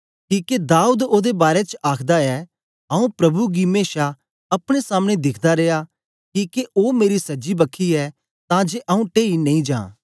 किके दाऊद ओदे बारै च आखदा ऐ आंऊँ प्रभु गी मेशा अपने सामने दिखदा रिया किके ओ मेरी सज्जी बखी ऐ तां जे आंऊँ टेई नेई जां